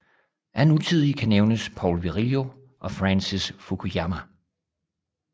Af nutidige kan nævnes Paul Virilio og Francis Fukuyama